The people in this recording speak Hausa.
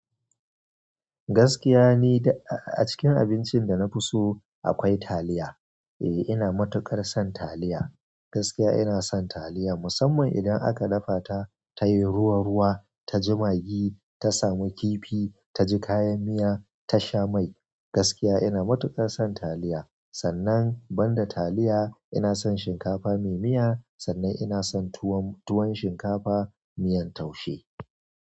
Gaskiya ni duk a cikin abincin da na fi so akwai taliya. E, ina matuƙar son taliya. Gaskiya ina son taliya musamman idan aka dafa ta tayi ruwa-ruwa, ta ji magi, ta sami kifi, ta ji kayan miya, ta sha mai. Gaskiya ina matuƙar son taliya. Sannan, ban da taliya ina son shinkafa mai miya. Sannan ina son tuwon shinkafa miyan taushe.